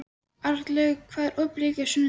Arnlaug, hvað er opið lengi á sunnudaginn?